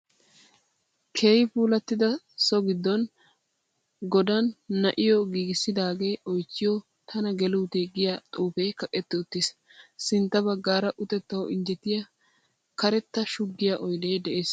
Keehi puulattida so giddon godan na'iyo giigissidaagee oychchiyo tana geluutee giya xuufee kaqetti uttiis. Sintta baggaara utettawu injjetiya karetta shuggiya oydee de'es.